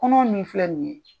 Kɔnɔ min filɛ nin ye.